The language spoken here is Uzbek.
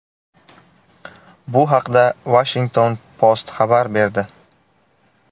Bu haqda Washington Post xabar berdi .